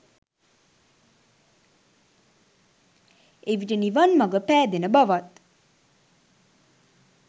එවිට නිවන් මඟ පෑදෙන බවත්